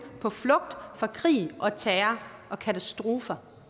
på flugt fra krig og terror og katastrofer